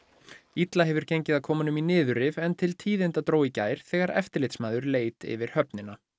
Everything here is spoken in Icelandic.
illa hefur gengið að koma honum í niðurrif en til tíðinda dró í gær þegar eftirlitsmaður leit yfir höfnina